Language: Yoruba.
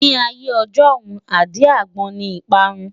Ní ayé ijọ́hun, àdí-àgbon ni ìparun.